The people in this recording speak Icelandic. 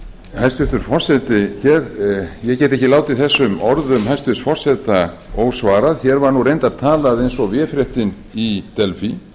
hæstvirtur forseti ég get ekki látið þessum orðum forseta ósvarað hér var reyndar talað eins og véfréttin í delfí